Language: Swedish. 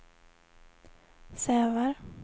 Sävar